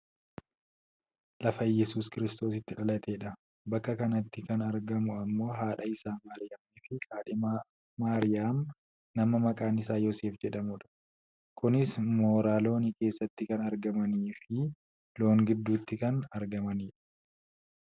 Lafa Iyyeesuus kiristoos itti dhalateedha. bakka kanatti kan argamu ammoo haadha isaa Maariyaamii fi kaadhima Maariyaam nama maqaan isaa Yoosef jedhamudha. kunis mooraa loonii keessatti kan argamaniifi loon gidduutti kan argamanidha.